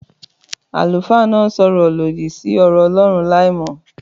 Àlùfáà náà sọ ọ̀rọ̀ lòdì sí ọ̀rọ̀ Ọlọ́run láìmọ̀